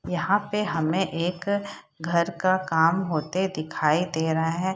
यहाँ पे हमें एक घर का काम होते दिखाई दे रहा है।